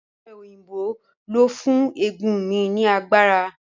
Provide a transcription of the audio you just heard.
Ọ̀pẹ òyìnbó ló fún eegun mi ní agbára